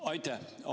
Aitäh!